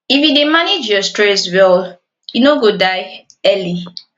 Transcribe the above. if you dey manage your stress well you no go die early